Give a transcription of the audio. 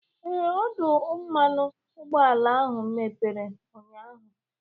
Ee, ọdụ mmanụ ụgbọala ahụ mepere ụnyaahụ.